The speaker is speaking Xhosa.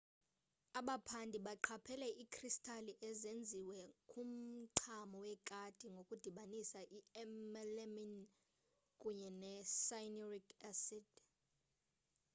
abaphandi baqaphela iikristali ezenziwe kumchamo wekati ngokudibanisa i-melamine kunye ne-cyanuric acid